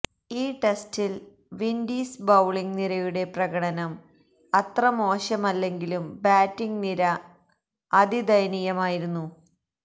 ഈ ടെസ്റ്റില് Windies bowling നിരയുടെ പ്രകടനം അത്ര മോശമല്ലെങ്കിലും ബാറ്റിങ് നിര അതിദയനീയമായിരുന്നു